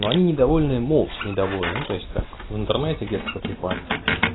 но они недовольны молча недовольны ну то есть так в интернете где-то потрепаться